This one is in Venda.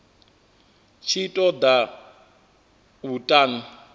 tshi ṱo ḓa u ṱun